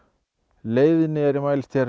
leiðni mælist hér